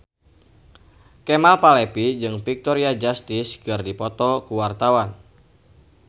Kemal Palevi jeung Victoria Justice keur dipoto ku wartawan